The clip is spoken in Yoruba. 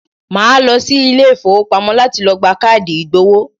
Màá lọ sí Ilé ìfowópamọ́ láti lo gba káàdì ìgbowó